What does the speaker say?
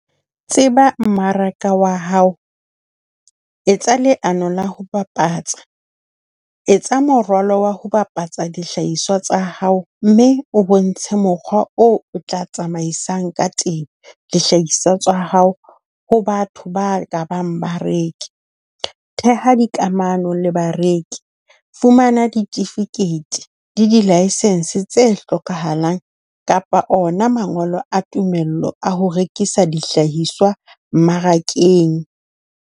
Tseba mmaraka wa hao, etsa leano la ho bapatsa, etsa moralo wa ho bapatsa dihlahiswa tsa hao, mme o bontshe mokgwa o o tla tsamaisang ka teng dihlahiswa tsa hao ho batho ba ka bang bareki. Theha dikamano le bareki, fumana ditifikeiti le di-licence tse hlokahalang kapa ona mangolo a tumello a ho rekisa dihlahiswa mmarakeng.